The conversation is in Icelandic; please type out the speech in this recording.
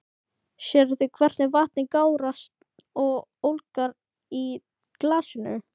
Sérðu hvernig vatnið gárast og ólgar í glasinu?